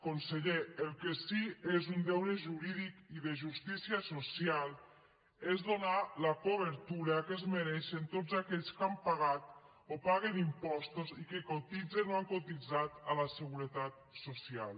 conseller el que sí és un deure jurídic i de justícia social és donar la cobertura que es mereixen tots aquells que han pagat o paguen impostos i que cotitzen o han cotitzat a la seguretat social